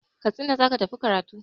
Katsina za ki tafi karatu!